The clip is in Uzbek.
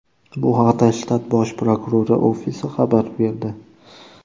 Bu haqda shtat bosh prokurori ofisi xabar berdi .